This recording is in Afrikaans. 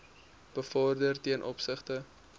bevorder ten opsigte